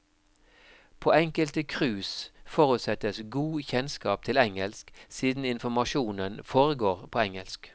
På enkelte cruise forutsettes god kjennskap til engelsk siden informasjonen foregår på engelsk.